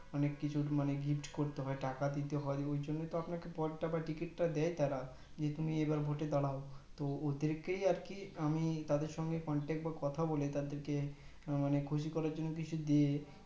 অনেক কইছে মানে gift করতে হয় টাকা দিতে হয় ওই জন্য তারা পদটা বা টিকিটটা দেয় তারা যে তুমি এবার ভোট দাড়াও তো ওদেরকেই আর কি আমি তাদের সঙ্গে contact বা কথা বলে তাদেরকে মানে খুশি করার জন্য কিছু দিয়ে